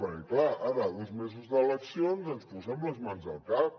perquè clar ara a dos mesos d’eleccions ens posem les mans al cap